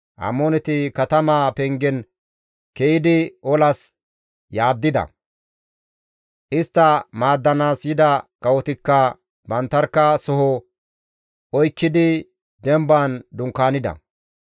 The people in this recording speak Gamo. Amooneti katamaa pengen ke7idi olas yaaddida; istta maaddanaas yida kawotikka banttarkka baas soho oykkidi demban dunkaanida.